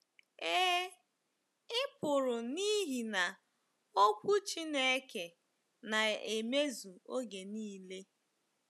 Ee, i pụrụ n’ihi na Okwu Chineke na-emezu oge nile.